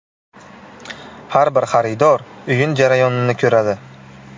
Har bir xaridor o‘yin jarayonini ko‘radi.